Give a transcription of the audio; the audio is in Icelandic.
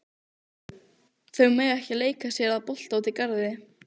Þau mega ekki leika sér að bolta úti í garði.